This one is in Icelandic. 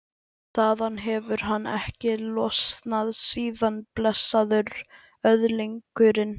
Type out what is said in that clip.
Sigurjón Guðjónsson, síðar prestur í Saurbæ.